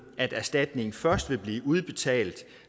at erstatning først vil blive udbetalt